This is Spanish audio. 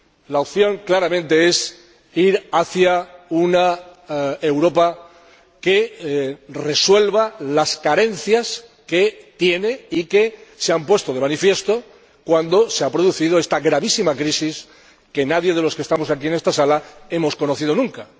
La opción, claramente, es ir hacia una Europa que resuelva las carencias que tiene y que se han puesto de manifiesto cuando se ha producido esta gravísima crisis que nadie de los que estamos aquí en esta Sala hemos conocido nunca.